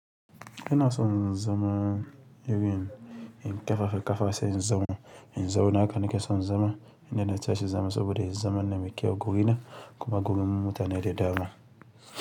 Ina son zama irin in kefafe ƙafa sai in zauna in zawo haka nake son zama inda na tashi zama saboda in zama na miƙewa guri na kuma gurin mutane da dama.